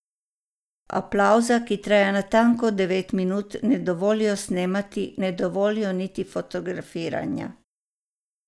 Aplavza, ki traja natanko devet minut, ne dovolijo snemati, ne dovolijo niti fotografiranja.